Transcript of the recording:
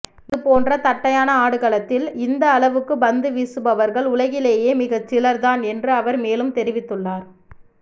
இதுபோன்ற தட்டையான ஆடுகளத்தில் இந்த அளவுக்கு பந்துவீசுபவர்கள் உலகிலேயே மிகச்சிலர்தான் என்று அவர் மேலும் தெரிவித்துள்ளார்